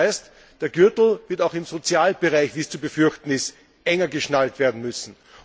Das heißt, der Gürtel wird auch im Sozialbereich wie es zu befürchten ist enger geschnallt werden müssen.